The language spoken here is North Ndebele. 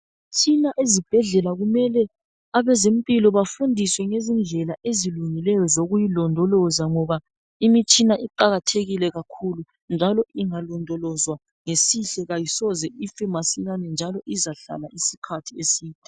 Imitshina ezibhedlela kumele abezempilo bafundiswe ngezindlela ezilungileyo zokuyilondoloza ngoba imitshina iqakathekile kakhulu njalo ingalondolozwa ngesihle kayisoze ife masinyane, njalo izahlala isikhathi eside.